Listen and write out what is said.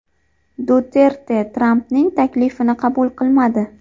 Duterte Trampning taklifini qabul qilmadi.